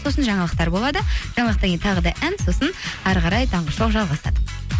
сосын жаңалықтар болады жаңалықтан кейін тағы да ән сосын әрі қарай таңғы шоу жалғасады